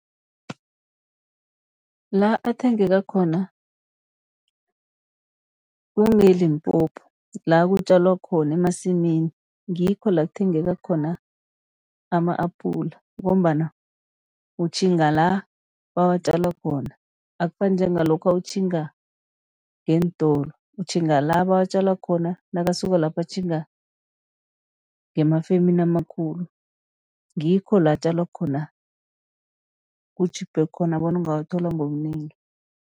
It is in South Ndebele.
La athengeka khona kungeLimpopo, la kutjalwa khona emasimini, ngikho la kuthengeka khona ama-apula. Ngombana utjhinga la bawatjala khona, akufani njengalokha utjhinga ngeentolo, utjhinga la bawatjala khona, nakasuka lapho atjhinga ngemafemini amakhulu. Ngikho la atjalwa khona, kutjhiphe khona bona ungawathola ngobunengi.